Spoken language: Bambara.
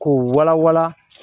K'o wala wala